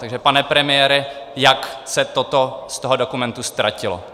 Takže pane premiére, jak se toto z toho dokumentu ztratilo?